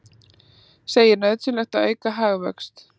Segir nauðsynlegt að auka hagvöxt